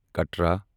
Katra